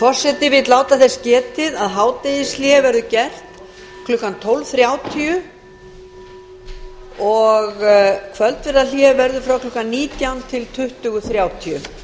forseti vill láta þess getið að hádegishlé verður gert klukkan tólf þrjátíu og kvöldverðarhlé verður frá klukkan nítján núll núll til tuttugu þrjátíu